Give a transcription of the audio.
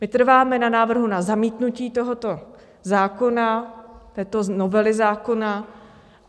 My trváme na návrhu na zamítnutí tohoto zákona, této novely zákona.